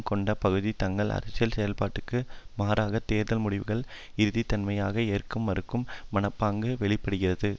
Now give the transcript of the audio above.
கொண்ட பகுதி தங்கள் அரசியல் செயல்பட்டியலுக்கு மாறான தேர்தல் முடிவுகளின் இறுதித்தன்மையை ஏற்க மறுக்கும் மனப்பாங்கு வெளி படுகிறது